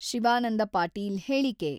ಶಿವಾನಂದ ಪಾಟೀಲ್ ಹೇಳಿಕೆ.